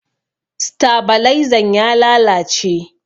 Stabalaizan ya lalace.